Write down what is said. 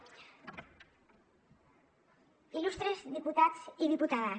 il·lustres diputats i diputades